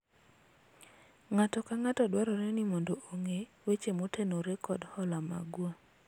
ng'ato ka ng'ato dwarore ni mondo ong'e weche motenore kod hola magwa